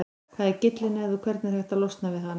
Hvað er gyllinæð og hvernig er hægt að losna við hana?